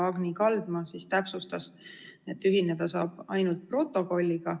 Agni Kaldma täpsustas, et ühineda saab ainult protokolliga.